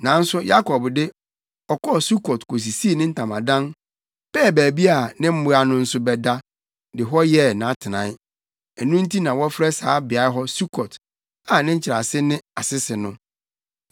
Nanso Yakob de, ɔkɔɔ Sukot kosisii ne ntamadan, pɛɛ baabi a ne mmoa no nso bɛda, de hɔ yɛɛ nʼatenae. Ɛno nti na wɔfrɛ saa beae hɔ Sukot, a ne nkyerɛase ne Asese no.